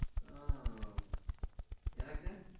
ஹம் எனக்கு?